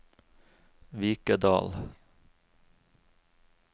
Vikedal